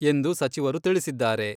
ಎಂದು ಸಚಿವರು ತಿಳಿಸಿದ್ದಾರೆ.